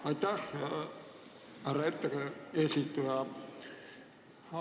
Aitäh, härra eesistuja!